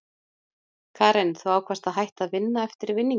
Karen: Þú ákvaðst að hætta að vinna eftir vinninginn?